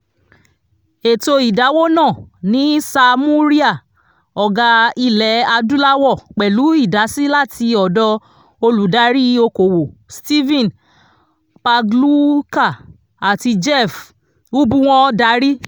ètò ìdáwó náà ní samurai ọgá ilẹ adúláwọ̀ pẹ̀lú idasi láti ọ̀dọ̀ olùdarí okòwò stephen pagluica àti jeff ubbwn darí